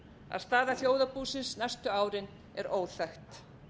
að staða þjóðarbúsins næstu árin er óþekkt